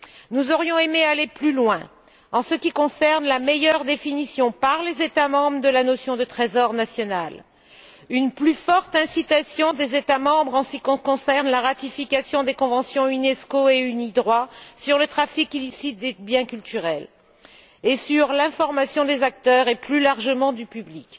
Nous aurions aimé aller plus loin en ce qui concerne une meilleure définition par les États membres de la notion de trésor national, une plus forte incitation des États membres à la ratification des conventions Unesco et Unidroit sur le trafic illicite des biens culturels et sur l'information des acteurs et, plus largement, du public.